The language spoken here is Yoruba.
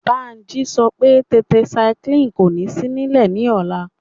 Bánjí sọ pé tẹtaisaiklínì kò ní sí nílẹ̀ ní ọ̀la